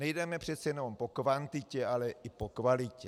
Nejdeme přece jenom po kvantitě, ale i po kvalitě.